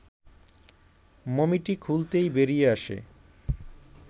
মমিটি খুলতেই বেরিয়ে আসে